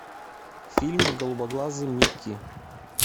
фильм голубоглазый микки